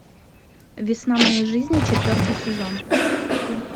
весна моей жизни четвертый сезон